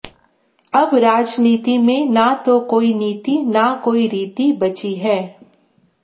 अब राजनीति में न तो कोई नीति न कोई रीति बची है